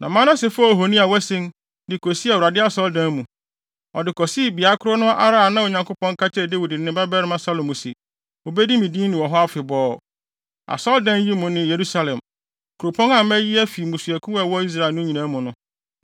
Na Manase faa ohoni a wasen, de kosii Onyankopɔn Asɔredan mu. Ɔde kosii beae koro no ara a Onyankopɔn ka kyerɛɛ Dawid ne ne babarima Salomo se, “Wobedi me din ni wɔ ha afebɔɔ, asɔredan yi mu ne Yerusalem, kuropɔn a mayi afi mmusuakuw a ɛwɔ Israel no nyinaa mu no.